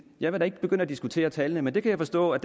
jeg vil da ikke begynde at diskutere tallene men det kan jeg forstå at